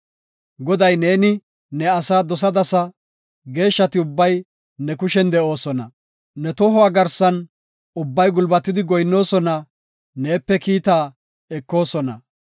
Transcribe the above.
Godaw neeni ne asaa dosadasa; Geeshshati ubbay ne kushen de7oosona. Ne tohuwa garsan ubbay gulbatidi goyinnoosona; neepe kiita ekoosona.